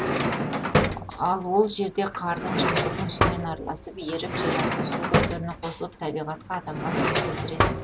ал ол жерде қардың жаңбырдың суымен араласып еріп жерасты су көздеріне қосылып табиғатқа адамға зиян келтіретін